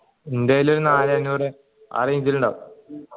എൻ്റെ കയ്യിൽ നാലേ അഞ്ഞൂറ് ആ range ൽ ഇണ്ടാഉ